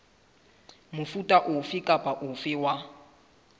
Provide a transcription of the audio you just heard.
mofuta ofe kapa ofe wa